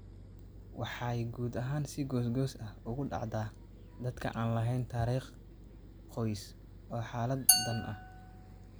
Waxay guud ahaan si goos-goos ah ugu dhacdaa dadka aan lahayn taariikh qoys oo xaaladdan ah.